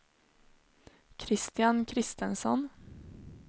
Kristian Christensson